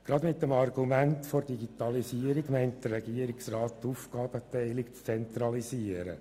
Gerade mit dem Argument der Digitalisierung meint der Regierungsrat die Aufgabenteilung zu zentralisieren.